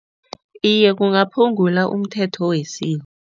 Iye, kungaphungula umthetho